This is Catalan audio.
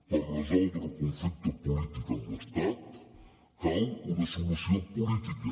per resoldre el conflicte polític amb l’estat cal una solució política